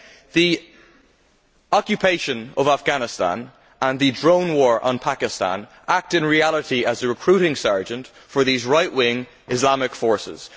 The occupation of Afghanistan and the drone war on Pakistan act, in reality, as a recruiting sergeant for right wing Islamic forces.